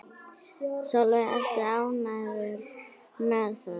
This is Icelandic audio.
Sólveig: Ertu ánægður með það?